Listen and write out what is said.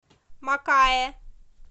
макаэ